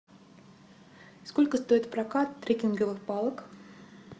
сколько стоит прокат трекинговых палок